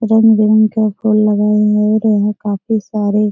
रंग-बिरंग के फूल लगाए हुए है और यहाँ कापी काफी सारे --